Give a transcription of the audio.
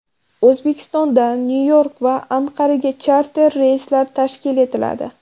O‘zbekistondan Nyu-York va Anqaraga charter reyslar tashkil etiladi.